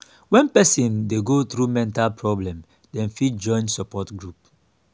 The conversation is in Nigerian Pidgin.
when person dey go through mental problem dem fit join support group